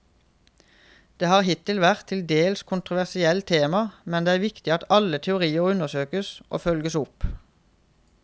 Det har hittil vært et til dels kontroversielt tema, men det er viktig at alle teorier undersøkes og følges opp.